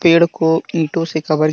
पेड़ को ईंटो से कवर की।